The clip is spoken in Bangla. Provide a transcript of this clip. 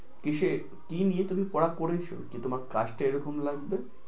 কিসের, কি নিয়ে তুমি পড়া পড়েছো যে তোমার কাজটা এক রকম লাগবে?